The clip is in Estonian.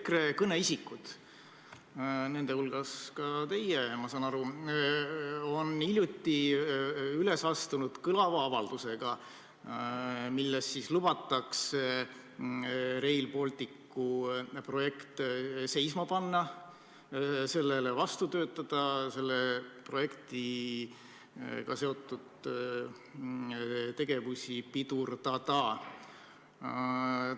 EKRE kõneisikud, nende hulgas ka teie, on hiljuti üles astunud kõlava avaldusega, milles lubatakse Rail Balticu projekt seisma panna, sellele vastu töötada, selle projektiga seotud tegevusi pidurdada.